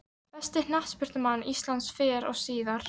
Besti knattspyrnumaður íslands fyrr og síðar?